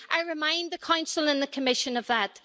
I remind the Council and the Commission of that.